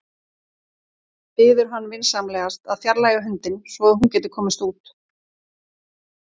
Biður hann vinsamlegast að fjarlægja hundinn svo að hún geti komist út.